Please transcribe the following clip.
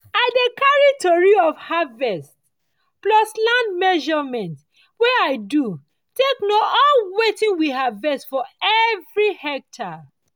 i dey carry tori of harvest plus land measurement wey i do take know all wetin we harvest for everi hectare.